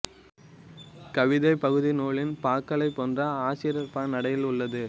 கவிதைப் பகுதி நூலின் பாக்களைப் போன்று ஆசிரியப்பா நடையில் உள்ளது